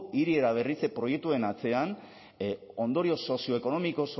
hiri eraberritze proiektuen atzean ondorio sozioekonomiko